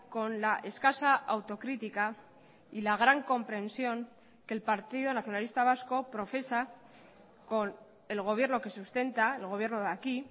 con la escasa autocrítica y la gran comprensión que el partido nacionalista vasco profesa con el gobierno que sustenta el gobierno de aquí